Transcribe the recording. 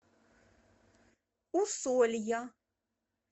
усолья